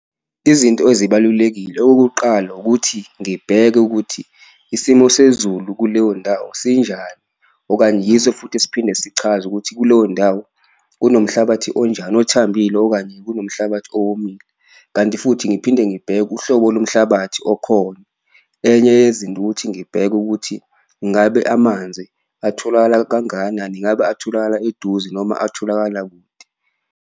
Izinto ezibalulekile, okokuqala ukuthi ngibheke ukuthi isimo sezulu kuleyo ndawo sinjani okanye yiso futhi esiphinde sichaze ukuthi kuleyo ndawo kunomhlabathi onjani, othambile okanye kunomhlabathi owomile. Kanti futhi ngiphinde ngibheke uhlobo lomhlabathi okhona, enye yezinto ukuthi ngibheke ukuthi ngabe amanzi atholakala kangakana, ngabe atholakala eduze noma atholakala kude.